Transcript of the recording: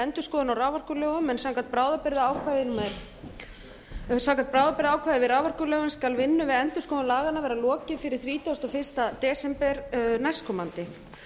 endurskoðunar á raforkulögum en samkvæmt bráðabirgðaákvæði í raforkulögum skal vinnu við endurskoðun laganna vera lokið fyrir þrítugasta og fyrsta desember næstkomandi